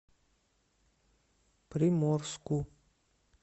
приморску